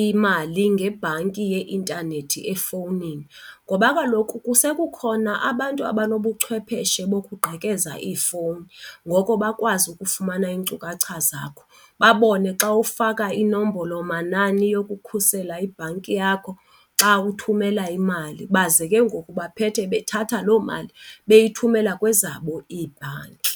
imali ngebhanki yeintanethi efowunini ngoba kaloku kukhona abantu abanobuchwepheshe bokuqgekeza ifowuni. Ngoko bakwazi ukufumana iinkcukacha zakho babone xa ufaka inombolomanani yokukhusela ibhanki yakho xa uthumela imali baze ke ngoku baphethe bethatha loo mali beyithumela kwezabo iibhanki.